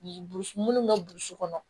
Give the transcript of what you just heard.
minnu bɛ burusi kɔnɔ